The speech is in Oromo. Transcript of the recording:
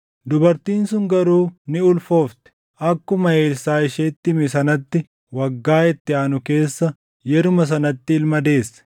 Dubartiin sun garuu ni ulfoofte; akkuma Elsaaʼi isheetti hime sanatti waggaa itti aanu keessa yeruma sanatti ilma deesse.